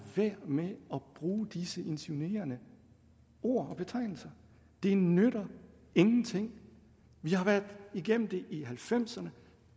være med at bruge disse insinuerende ord og betegnelser det nytter ingenting vi har været igennem det i nitten halvfemserne